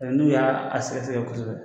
O la n'u y'a sɛgɛsɛgɛ kosɛbɛ